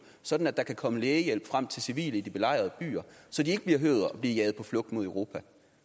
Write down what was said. sådan at der kan komme lægehjælp frem til civile i de belejrede byer så de ikke behøver at blive jaget på flugt mod europa